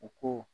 U ko